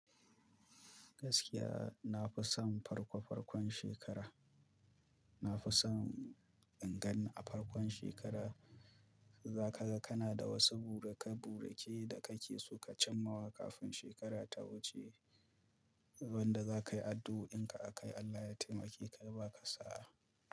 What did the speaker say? Gaskiya na fi son farko farkon shekara. Na fi son ingani a farkon shekara. Za ka ga kana da wasu burikai burikai da kake so ka cimawa kafin shekara ta wuce, wanda za ka yi addu'o'in ka a kai Allah ya taimake ka ya ka sa.